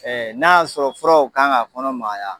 Ɛ n'a y'a sɔrɔ furaw kan ka kɔnɔ magaya